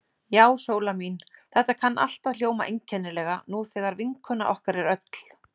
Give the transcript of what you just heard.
Já, Sóla mín, þetta kann allt að hljóma einkennilega, nú þegar vinkona okkar er öll.